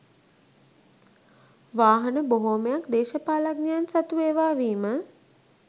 වාහන බොහෝමයක් දේශපාලඥයන් සතු ඒවා වීම